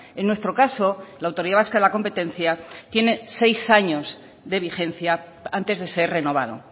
en nuestro caso la autoridad vasca de la competencia tiene seis años de vigencia antes de ser renovado